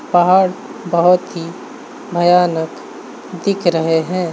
पहाड़ बोहोत ही भयानक दिख रहे हैं।